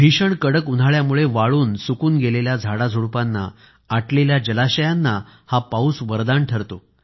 भीषण कडक उन्हाळ्यामुळे वाळून सुकून गेलेल्या झाडाझुडुपांना आटलेल्या जलाशयांना हा पाऊस वरदान ठरतो